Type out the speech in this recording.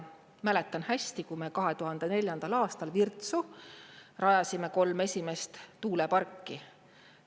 Mäletan hästi, kui me 2004. aastal Virtsu rajasime kolm esimest tuuleparki.